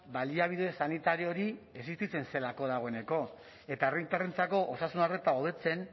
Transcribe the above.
baliabide sanitario hori existitzen zelako dagoeneko eta herritarrentzako osasun arreta hobetzen